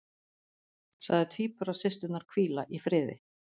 Sagði tvíburasysturnar hvíla í friði